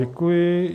Děkuji.